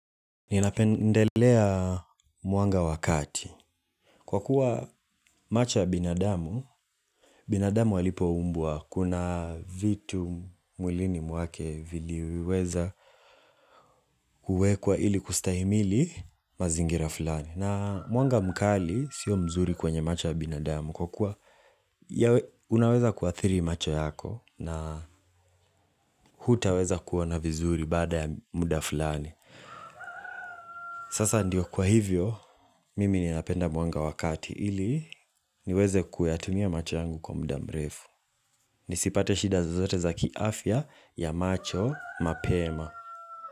Ninapendelea mwanga wa kati. Kwa kuwa macho ya binadamu, binadamu walipoumbwa kuna vitu mwilini mwake viliweza kuwekwa ili kustahimili mazingira fulani. Na mwanga mkali sio mzuri kwenye macho ya binadamu. Kwa kuwa unaweza kuathiri macho yako na hutaweza kuona vizuri baada ya muda fulani. Sasa ndio kwa hivyo, mimi ninapenda mwanga wa kati ili niweze kuyatumia macho yangu kwa muda mrefu. Nisipate shida zozote za kiafya ya macho mapema.